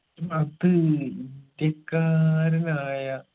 അത് ഇന്ത്യക്കാരനായ